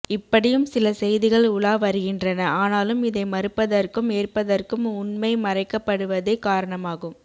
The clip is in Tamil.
இப்படியும் சில் செய்திகள் உலாவருகின்றன ஆனாலும் இதை மறுப்பதற்கும் ஏற்பதற்கும் உண்மை மறைக்கப்படுவதே காரணமாகும்